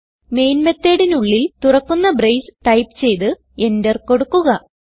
main methodനുള്ളിൽ തുറക്കുന്ന brace type ചെയ്ത് Enter കൊടുക്കുക